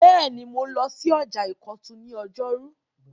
Bẹ́ẹ̀ni, mo lọ sí ọjà ìkọ̀tún ní ọjọ́rú